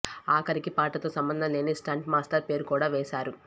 ఆఖరికి పాటతో సంబంధం లేని స్టంట్ మాస్టర్ పేరు కూడా వేసారు